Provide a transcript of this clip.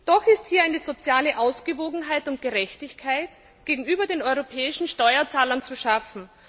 Doch ist hier eine soziale Ausgewogenheit und Gerechtigkeit gegenüber den europäischen Steuerzahlern zu schaffen.